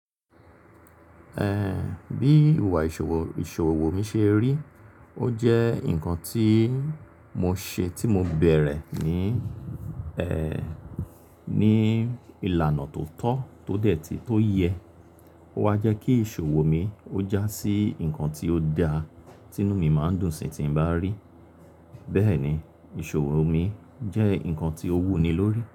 Ehn, bí ìwà ìṣòwò, ìṣòwò mi ṣe rí, ó jẹ́ ǹkan tí mo ṣe tí mo bẹ̀rẹ̀ ní, ẹ́ẹ́, ní ìlànà tó tọ́, tó dẹ̀ tì, tó yẹ. Ó wa jẹ́ kí ìṣòwò mi ó jásí ǹkan tí ó da, tí inú mi máa ń dùn sí tí n bá rí. Bẹ́ẹ̀ni, ìṣòwò mi jẹ́ ǹkan tí ó wúni lórí.